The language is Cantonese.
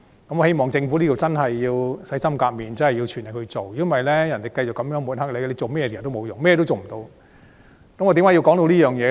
我希望政府真的能洗心革面，全力以赴，否則便會被人繼續抹黑，做甚麼也是徒然，只會一事無成。